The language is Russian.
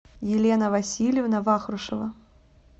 елена васильевна вахрушева